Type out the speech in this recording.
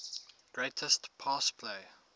greatest pass play